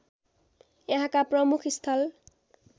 यहाँका प्रमुख स्थल